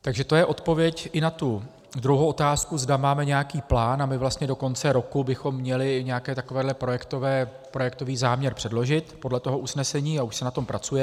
Takže to je odpověď i na tu druhou otázku, zda máme nějaký plán, a my vlastně do konce roku bychom měli nějaký takovýto projektový záměr předložit podle toho usnesení, a už se na tom pracuje.